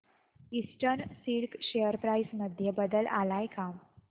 eastern Silk share price मध्ये बदल आलाय का